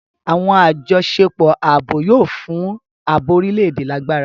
Awọn ajọṣepọ ààbò yóò fún ààbò orílè-èdè lágbára.